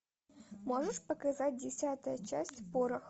можешь показать десятая часть порох